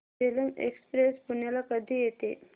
Jhelum express पुण्याला कधी येते